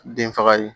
Den faga ye